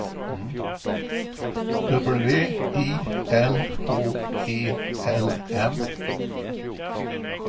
W I L H E L M